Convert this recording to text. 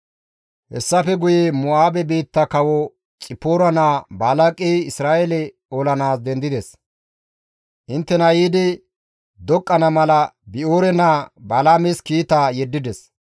Hessafe guye Mo7aabe biitta kawo Xipoora naa Balaaqey Isra7eele olanaas dendides; inttena yiidi doqqana mala Bi7oore naa Balaames kiita yeddides.